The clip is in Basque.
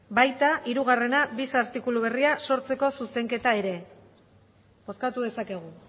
baita hirugarrena bis artikulu berria sortzeko zuzenketa ere bozkatu dezakegu